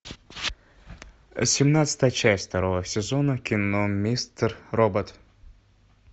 семнадцатая часть второго сезона кино мистер робот